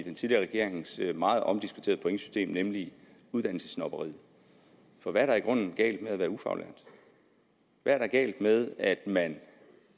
den tidligere regerings meget omdiskuterede pointsystem nemlig uddannelsessnobberiet for hvad er der i grunden galt med at være ufaglært hvad er der galt med at man